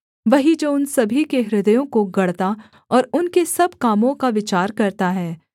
वही जो उन सभी के हृदयों को गढ़ता और उनके सब कामों का विचार करता है